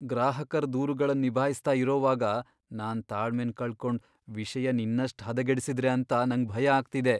ಗ್ರಾಹಕರ್ ದೂರುಗಳನ್ ನಿಭಾಯಿಸ್ತ ಇರೋವಾಗ ನಾನ್ ತಾಳ್ಮೆನ್ ಕಳ್ಕೊಂಡ್ ವಿಷಯನ್ ಇನ್ನಷ್ಟ್ ಹದಗೆಡಿಸಿದ್ರೆ ಅಂತ ನಂಗ್ ಭಯ ಆಗ್ತಿದೆ.